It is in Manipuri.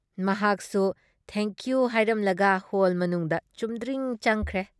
ꯃꯍꯥꯛꯁꯨꯨ ꯊꯦꯡ ꯀꯤꯌꯨ ꯍꯥꯏꯔꯝꯂꯒ ꯍꯣꯜ ꯃꯅꯨꯡꯗ ꯆꯨꯝꯗ꯭ꯔꯤꯡ ꯆꯪꯈ꯭ꯔꯦ ꯫